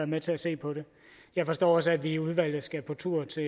med til at se på det jeg forstår også at vi i udvalget skal på tur til